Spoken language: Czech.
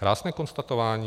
Krásné konstatování.